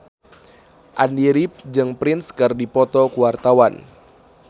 Andy rif jeung Prince keur dipoto ku wartawan